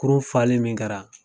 Kurun fali min kɛra